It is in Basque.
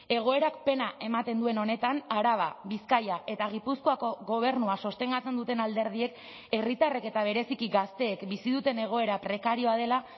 egoerak pena ematen duen honetan araba bizkaia eta gipuzkoako gobernua sostengatzen duten alderdiek herritarrek eta bereziki gazteek bizi duten egoera prekarioa dela